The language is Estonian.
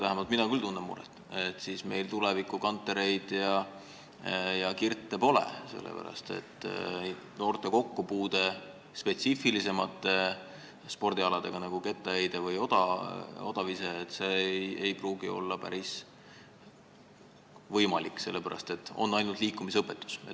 Vähemalt mina tunnen küll muret, et meil pole siis enam tuleviku Kantereid ega Kirte, sellepärast et noorte kokkupuude spetsiifilisemate spordialadega, nagu kettaheide või odavise, ei pruugi olla võimalik, kui meil on ainult liikumisõpetus.